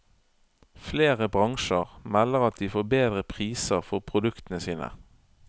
Flere bransjer melder at de får bedre priser for produktene sine.